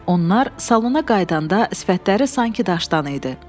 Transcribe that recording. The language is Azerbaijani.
Onlar salona qayıdanda sifətləri sanki daşdan idi.